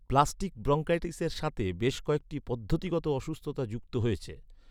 Plastic ব্রঙ্কাইটিসের সাথে বেশ কয়েকটি পদ্ধতিগত অসুস্থতা যুক্ত হয়েছে।